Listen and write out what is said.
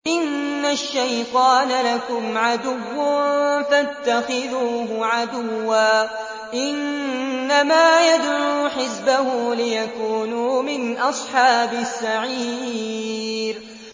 إِنَّ الشَّيْطَانَ لَكُمْ عَدُوٌّ فَاتَّخِذُوهُ عَدُوًّا ۚ إِنَّمَا يَدْعُو حِزْبَهُ لِيَكُونُوا مِنْ أَصْحَابِ السَّعِيرِ